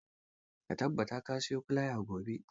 Ka tabbata ka siyo filaya gobe.